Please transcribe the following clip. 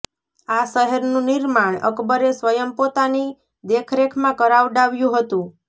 આ શહેરનું નિર્માણ અકબરે સ્વયં પોતાની દેખરેખમાં કરાવડાવ્યું હતું